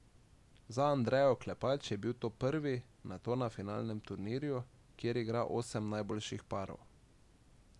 Za Andrejo Klepač je bil to prvi nato na finalnem turnirju, kjer igra osem najboljših parov.